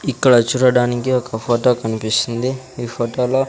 ఇక్కడ చూడడానికి ఒక ఫోటో కనిపిస్తుంది ఈ ఫోటోలో .